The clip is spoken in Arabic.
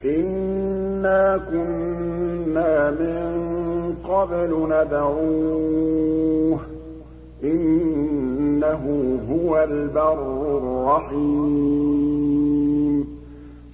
إِنَّا كُنَّا مِن قَبْلُ نَدْعُوهُ ۖ إِنَّهُ هُوَ الْبَرُّ الرَّحِيمُ